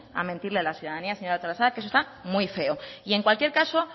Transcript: a mentirle a la ciudadanía señora artolazabal que eso está muy feo en cualquier caso